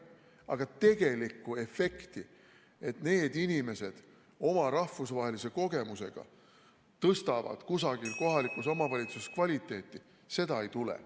Aga tegelikku efekti, et need inimesed oma rahvusvahelise kogemusega tõstaksid kusagil kohalikus omavalitsuses kvaliteeti, ei tule.